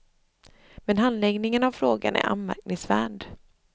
Men handläggningen av frågan är anmärkningsvärd.